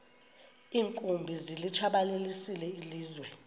iinkumbi zilitshabalalisile ilizwe